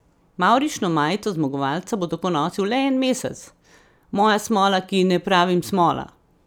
Mavrično majico zmagovalca bo tako nosil le en mesec: "Moja smola, ki ji ne pravim smola.